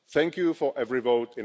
Thank you in advance for every vote.